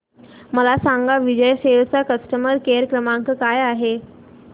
मला सांगा विजय सेल्स चा कस्टमर केअर क्रमांक काय आहे